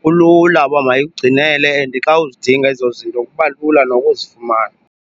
kulula uba mayikugcinele and xa uzidinga ezo zinto kuba lula nokuzifumana.